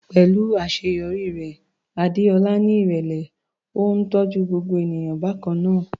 Pẹ̀lú àṣeyọrí rẹ̀, Adeola ní ìrẹ̀lẹ̀, ó ń tọ́jú gbogbo ènìyàn bákan náà.